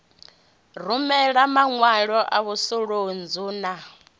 rumela maṅwalo a mvusuludzo na